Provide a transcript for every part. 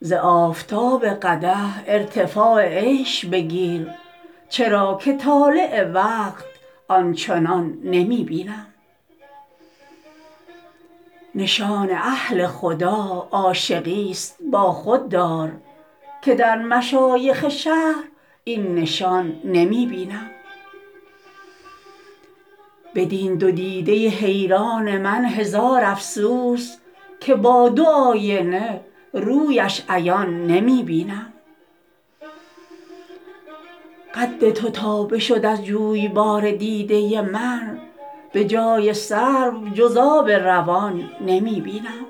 ز آفتاب قدح ارتفاع عیش بگیر چرا که طالع وقت آن چنان نمی بینم نشان اهل خدا عاشقیست با خود دار که در مشایخ شهر این نشان نمی بینم بدین دو دیده حیران من هزار افسوس که با دو آینه رویش عیان نمی بینم قد تو تا بشد از جویبار دیده من به جای سرو جز آب روان نمی بینم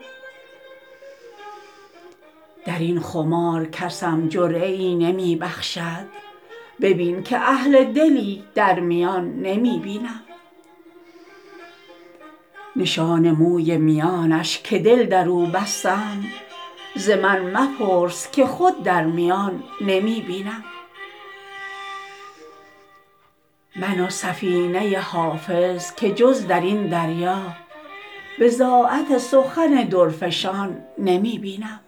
در این خمار کسم جرعه ای نمی بخشد ببین که اهل دلی در میان نمی بینم نشان موی میانش که دل در او بستم ز من مپرس که خود در میان نمی بینم من و سفینه حافظ که جز در این دریا بضاعت سخن درفشان نمی بینم